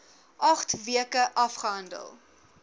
agt weke afgehandel